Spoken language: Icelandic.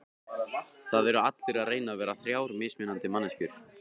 Það eru allir að reyna að vera þrjár mismunandi manneskjur.